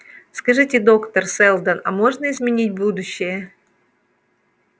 скажите доктор сэлдон а можно изменить будущее